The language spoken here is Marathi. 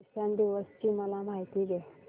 किसान दिवस ची मला माहिती दे